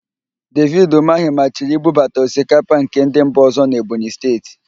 Devid Ụmahị maachiri ibubata osikapa nke ndị mba ọ̀zọ́ n'Ebonyi Steeti.